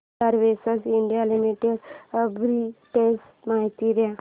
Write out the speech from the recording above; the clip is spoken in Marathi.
आधार वेंचर्स इंडिया लिमिटेड आर्बिट्रेज माहिती दे